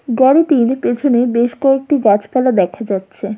গাড়িটির পেছনে বেশ কয়েকটি গাছপালা দেখা যাচ্ছে।